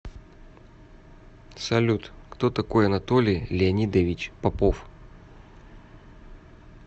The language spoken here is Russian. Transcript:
салют кто такой анатолий леонидович попов